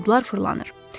Buludlar fırlanır.